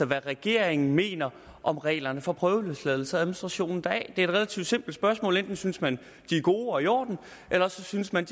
hvad regeringen mener om reglerne for prøveløsladelse og administrationen deraf det er et relativt simpelt spørgsmål enten synes man at de er gode og i orden eller også synes man